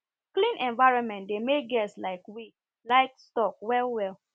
clean environment dey make guest like we livestock well well